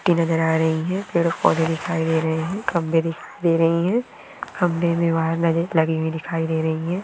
और मिट्टी नजर आ रही है पेड़-पौधे दिखाई दे रहे हैं लगाई हुई दिखाई दे रही है।